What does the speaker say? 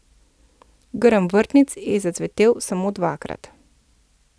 Grm vrtnic je zacvetel samo dvakrat.